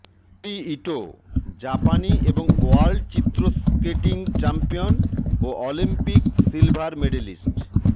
Midori Ito জাপানি এবং world চিত্র স্কেটিং চ্যাম্পিয়ন ও অলিম্পিক সিলভার মেডেলিস্ট